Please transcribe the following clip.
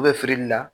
U bɛ fili la